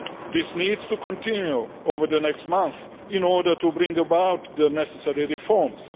This needs to continue over the next months in order to bring about the necessary reforms.